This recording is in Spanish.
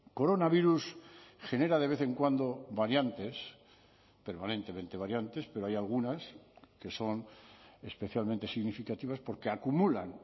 coronavirus genera de vez en cuando variantes permanentemente variantes pero hay algunas que son especialmente significativas porque acumulan